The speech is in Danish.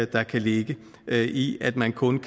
der kan ligge i at man kun